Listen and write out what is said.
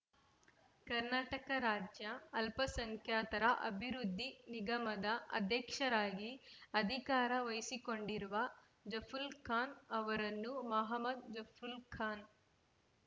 ಕರ್ನಾಟಕ ರಾಜ್ಯ ಅಲ್ಪಸಂಖ್ಯಾತರ ಅಭಿವೃದ್ಧಿ ನಿಗಮದ ಅಧ್ಯಕ್ಷರಾಗಿ ಅಧಿಕಾರ ವಹಿಸಿಕೊಂಡಿರುವ ಜಫುಲ್ ಖಾನ್ ಅವರನ್ನು ಮಹ್ಮದ್ ಜಫ್ರುಲ್ ಖಾನ್